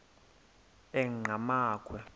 enqgamakhwe